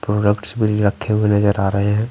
Products भी रखे हुए नजर आ रहे हैं ।